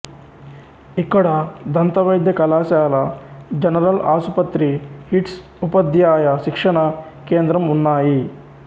ఇక్కడ దంతవైద్య కళాశాల జనరల్ ఆసుపత్రి హిట్స్ ఉపధ్యాయ శిక్షణా కేంద్రం ఉన్నాయి